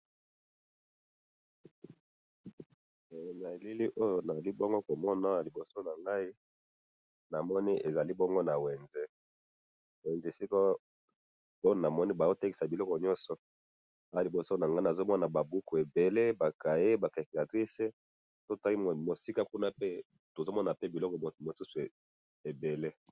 Na elili oyo nazali bongo komona awa liboso nangayi, namoni ezali bongo nawenze, wenze esika oyo namoni bazotekisa biloko nyonso, awa liboso nanga nazomona ba buku, ba cahier, ba calculatrice, soki otali mosika kuna pe, tozomonape biloko mosusu ebele